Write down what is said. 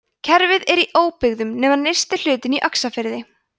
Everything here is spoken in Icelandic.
kerfið er í óbyggðum nema nyrsti hlutinn í öxarfyrði